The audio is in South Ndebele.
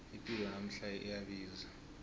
ipilo yanamhlanje iyabiza